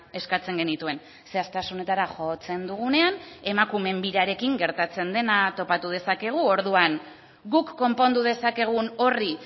eskatzen genituen zehaztasunetara jotzen dugunean emakumeen birarekin gertatzen dena topatu dezakegu orduan guk konpondu dezakegun horri